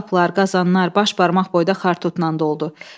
Boş qablar, qazanlar baş barmaq boyda xartutla doldu.